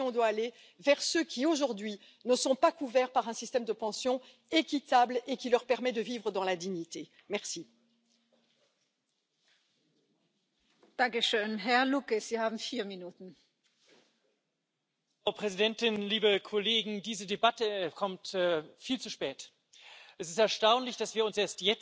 das Umlageverfahren nicht zur Verfügung hat. Und wenn es ein solches auch staatlich vorangetriebenes Kapitaldeckungsverfahren gibt, dann hat der Staat auch ein Interesse daran, dass es hohe Zinsen gibt. Das Problem, das angesprochen worden ist, dass wir jetzt eine Niedrigzinsphase haben und dass das Kapitaldeckungsverfahren